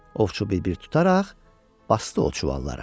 Ovçu bir-bir tutaraq basdı o çuvallara.